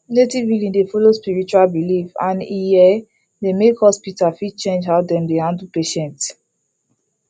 native healing dey follow spiritual belief and e um dey make hospital fit change how dem dey handle patients